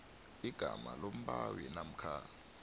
igama lombawi namkha